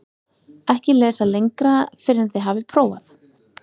EKKI LESA LENGRA FYRR EN ÞIÐ HAFIÐ PRÓFAÐ